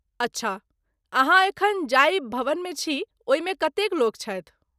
अच्छा, अहाँ एखन जाहि भवनमे छी ओहिमे कतेक लोक छथि?